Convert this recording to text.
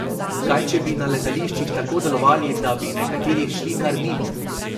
Kaj če bi na letališčih tako delovali, da bi nekateri šli kar mimo?